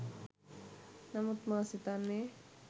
නමුත් මා සිතන්නේ